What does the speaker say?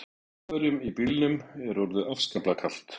Þjóðverjunum í bílnum er orðið afskaplega kalt.